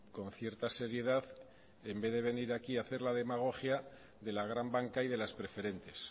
con cierta seriedad en vez de venir aquí a hacer la demagogia de la gran banca y de las preferentes